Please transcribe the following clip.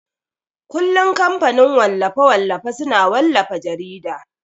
kullun kamfanin wallafe-wallafe suna wallafa jarida.